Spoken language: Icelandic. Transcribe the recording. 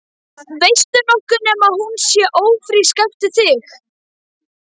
Veistu nokkuð nema hún sé ófrísk eftir þig?